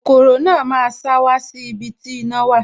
Kokoro náà máa sá wá sí ibi tí iná wà